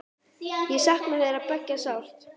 Ég sakna þeirra beggja sárt.